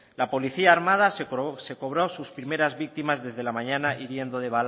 la policía armada se cobró sus primeras víctimas desde la mañana hiriendo de